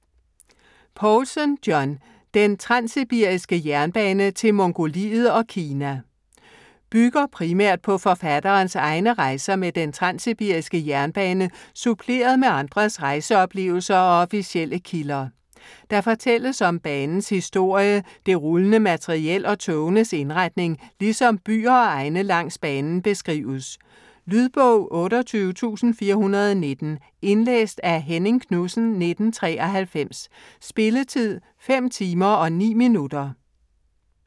Poulsen, John: Den transsibiriske Jernbane til Mongoliet og Kina Bygger primært på forfatterens egne rejser med den Transsibiriske Jernbane suppleret med andres rejseoplevelser og officielle kilder. Der fortælles om banens historie, det rullende materiel og togenes indretning, ligesom byer og egne langs banen beskrives. Lydbog 28419 Indlæst af Henning Knudsen, 1993. Spilletid: 5 timer, 9 minutter.